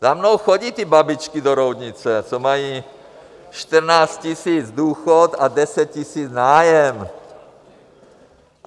Za mnou chodí ty babičky do Roudnice, co mají 14 tisíc důchod a 10 tisíc nájem.